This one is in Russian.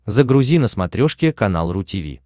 загрузи на смотрешке канал ру ти ви